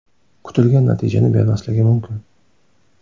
kutilgan natijani bermasligi mumkin.